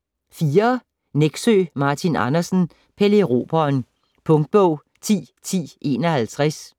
Nexø, Martin Andersen: Pelle Erobreren Punktbog 101051